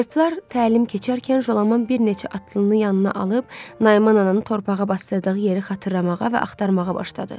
Alplar təlim keçərkən Jolaman bir neçə atlısını yanına alıb Nayman ananı torpağa basdırdığı yeri xatırlamağa və axtarmağa başladı.